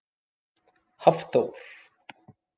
Hafþór